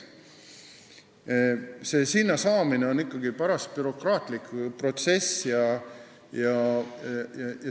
Sinna saamiseks tuleb läbida parasjagu bürokraatlik protsess.